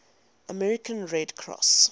american red cross